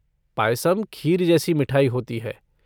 पायसम खीर जैसी मिठाई होती है।